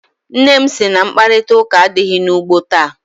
Nna m sị na mkparịtaụka adịghị n'ugbo taa.